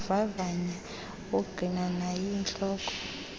ukuvavanya ongqinwa nayintloko